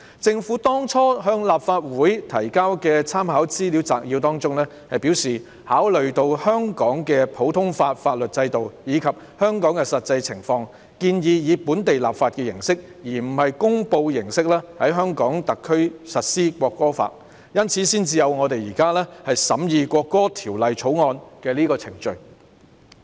政府在當初向立法會提交的參考資料摘要中表示，考慮到香港的普通法法律制度，以及香港的實際情況，建議以本地立法形式而非公布形式在香港特區實施《國歌法》，因此才有我們現在審議的《條例草案》。